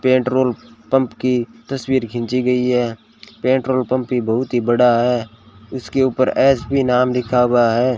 Petrol pump की तस्वीर खींची गई है पेट्रोल पंप भी बहुत ही बड़ा है इसके ऊपर एस_बी नाम लिखा हुआ है।